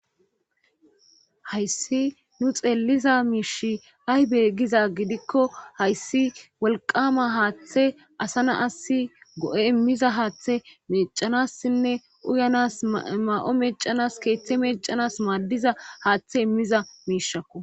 Hayssi nu xeeliza miishi haybe giza gidikko hayssi wolqama haaththe asana asi go7e immiza haaththe mecanassinne uyanas ma7o mecanas keeththe mecanas maaddiza haaththe immiza miishakko.